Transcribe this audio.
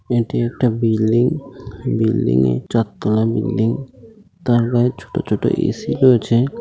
এটি একটি building. Building - এ চার তলা বিল্ডিং তার গায়ে ছোট ছোট এ.সি. রয়েছে ।